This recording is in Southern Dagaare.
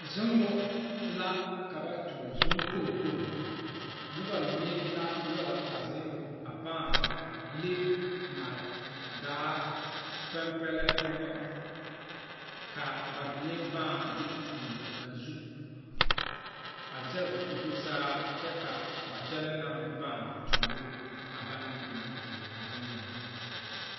sogɛre la be sokuɔraa zuiŋ kyɛnɛ. ka ba sogɛre lɔɔre kaŋ meŋ te be ba puoreŋ kaa sogɛre mine ziŋ a lɔɔre zuiŋ kyɛ ka lɔbile kaŋ meŋ la tuuro ba.